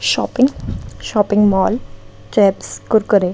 Shopping shopping mall chips Kurkure.